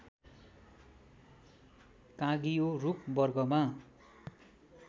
काँगियो रूख वर्गमा